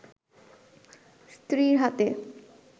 স্ত্রীর হাতে